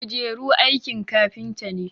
kujeru aikin kafinta ne